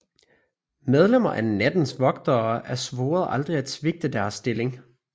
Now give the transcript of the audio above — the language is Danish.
Medlemmer af Nattens Vogtere er svoret aldrig at svigte deres stillinger